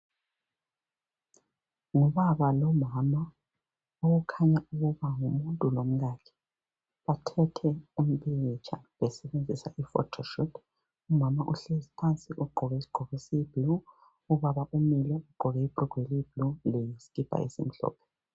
Ngubaba lomama okukhanya ukuba ngumuntu lomkakhe. Bathethe umpikitsha besebenzisa i-photoshoot. Umama uhlezi phansi ugqoke isigqoko esiyi-blue, ubaba umile ugqoke ibrugwe eliyi-blue leskipa esimhlophe.